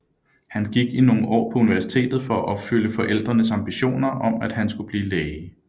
Han gik i nogle år på universitetet for at opfylde forældrenes ambitioner om at han skulle blive læge